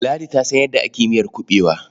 Ladi ta san yadda ake miyar kuɓewa.